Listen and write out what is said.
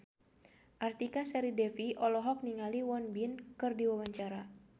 Artika Sari Devi olohok ningali Won Bin keur diwawancara